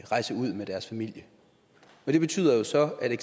rejse ud med deres familier det betyder jo så at der